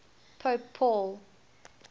pope paul